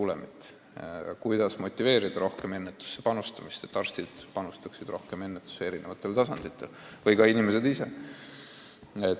Seepärast on vaja teada, kuidas motiveerida rohkemat ennetusse panustamist, seda, et arstid ja ka inimesed ise panustaksid eri tasanditel rohkem profülaktikasse.